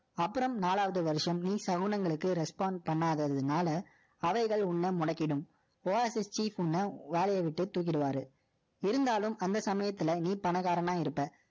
அப்புறம், நாலாவது வருஷம், நீ சகுனங்களுக்கு, respond பண்ணாததுனால, அவைகள், உன்னை முடக்கிடும். Oasis உன்னை, வேலையை விட்டு, தூக்கிடுவாரு. இருந்தாலும், அந்த சமயத்துல, நீ, பணக்காரனா இருப்ப.